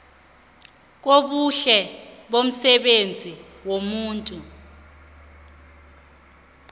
kobuhle bomsebenzi womuntu